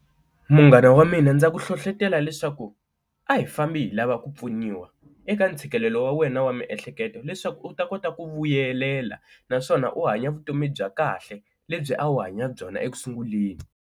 Munghana wa mina ndza ku hlohletela leswaku a hi fambi hi lava ku pfuniwa eka ntshikelelo wa wena wa miehleketo leswaku u ta kota ku vuyelela naswona u hanya vutomi bya kahle lebyi a wu hanya byona ekusunguleni.